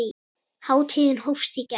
Hátíðin hófst í gær.